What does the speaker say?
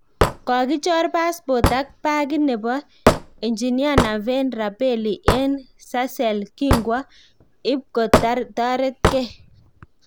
Kogichor passpot ak pagit nebo enjinia Naveen Rabelli eng sarcelles kingwo ipkotaretkei